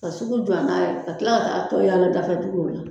Ka sugu jɔ n'a ye ka kila ka taa tɔw yala dafɛ duguw la